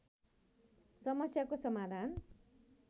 समस्याको समाधान